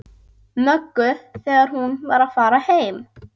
Möggu þegar hún var að fara heim.